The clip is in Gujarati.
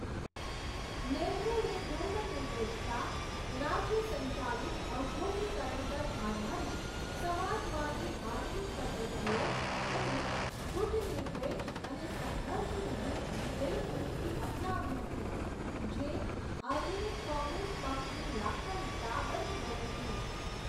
નહેરુએ ધર્મનિરપેક્ષતા, રાજ્ય સંચાલિત ઔદ્યોગીકરણ પર આધારિત સમાજવાદી આર્થિક પદ્ધતિઓ અને ગુટનિરપેક્ષ અને સંઘર્ષવિહીન વિદેશ નીતિ અપનાવી હતી, જે આધુનિક કોંગ્રેસ પક્ષની લાક્ષણિકતા બની ગઈ હતી.